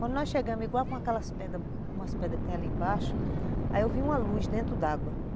Quando nós chegamos, igual com aquelas pedras, umas pedras que tem ali embaixo, aí eu vi uma luz dentro d'água.